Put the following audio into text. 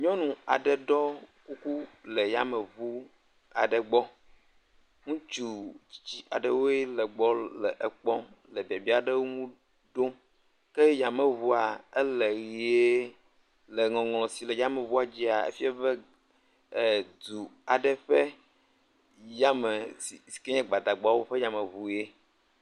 nyunɔ aɖe ɖɔ kuku le yamewuaɖe gbɔ ŋutsu tsitsi aɖewoe le gbɔ le ekpɔm le biabiaɖewo ŋu ɖom ke yameʋua ele yie le ŋɔŋlɔ si le yameʋua dzia, efia be edu aɖe ƒe yame sike nye gbadagbawo ƒe yameʋue